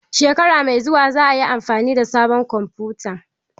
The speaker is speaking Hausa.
Shekara mai zuwa za a yi amfani da sabon kwamfuta